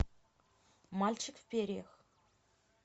мальчик в перьях